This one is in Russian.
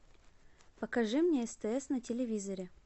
покажи мне стс на телевизоре